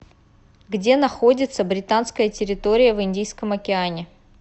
где находится британская территория в индийском океане